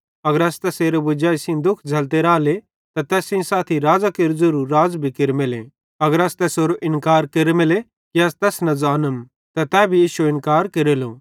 अगर अस तैसेरे वजाई सेइं दुःख झ़ैल्लते रहले त तैस सेइं साथी राज़ां केरू ज़ेरू अस भी राज़ केरमेले अगर अस तैसेरो इन्कार केरमेले कि अस तैस न ज़ानम त तै भी इश्शो इन्कार केरेलो